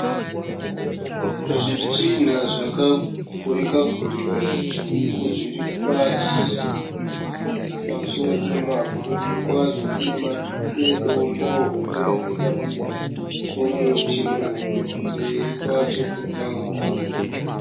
Zvitinha zvakagurika gurika zvitsvuku zviri pasi pamusoro pemavhu. Kudivi kwazvo kune dombo hombe riri padivi pomuti muhombe. Kumberi kwacho kune mamwe matombo.